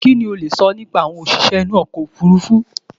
Kí lo lè sọ nípa àwọn òṣìṣẹ́ inú okọ̀ òfurufú?